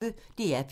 DR P1